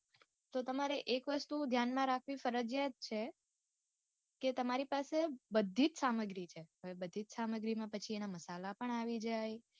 તો તમારે એક વસ્તુ ધ્યાન માં રાખવી ફરજિયાત છે કે તમારી પાસે બધીજ સામગ્રી છે હવે બધી જ સામગ્રીમાં પછી એના મસાલા પણ આવી જાય.